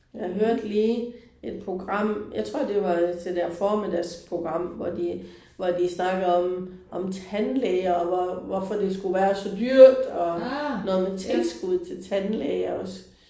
Jeg hørte lige et program, jeg tror det var det der formiddagsprogram hvor de hvor de snakkede om om tandlæger og hvor hvorfor det skulle være så dyrt og noget med tilskud til tandlæger også